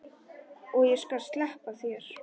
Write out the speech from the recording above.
Og ég skal sleppa þér!